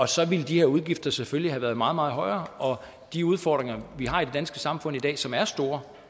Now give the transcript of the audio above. så ville de her udgifter selvfølgelig have været meget meget højere og de udfordringer vi har i det danske samfund i dag som er store